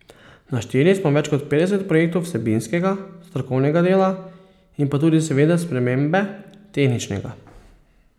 Našteli smo več kot petdeset projektov vsebinskega, strokovnega dela in pa tudi seveda spremembe tehničnega.